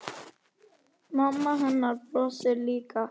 Mamma hennar brosir líka.